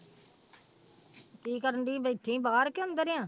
ਕੀ ਕਰਦੀ ਸੀ ਬੈਠੀ ਸੀ ਬਾਹਰ ਕਿ ਅੰਦਰ ਆਂ